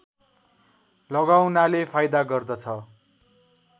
लगाउनाले फाइदा गर्दछ